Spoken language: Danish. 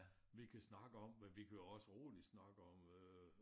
Vi kan snakke om men vi kan jo også roligt snakke om øh